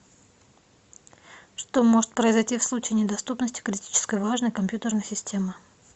что может произойти в случае недоступности критически важной компьютерной системы